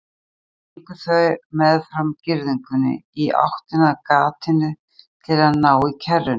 Síðan gengu þau meðfram girðingunni í áttina að gatinu til að ná í kerruna.